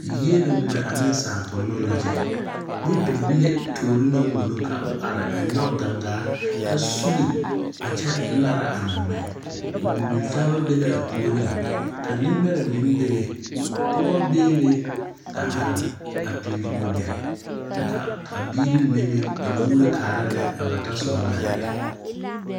Yielo ŋmɛ a ne sankunoo la kyɛ nyɛ bibile toore naŋ wono ka o are a nyoŋ dangaa a sugle a kyɛ naara a naa ŋmɛ bibile taa ba be la a puori ka nenbɛre meŋ be be Pɔge be be a are a pele wagye kyɛ ka biiri mine meŋ a moglo kaara lɛ a ba ta so ba naŋ erɛ.